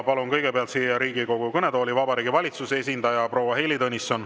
Palun kõigepealt siia Riigikogu kõnetooli Vabariigi Valitsuse esindaja proua Heili Tõnissoni.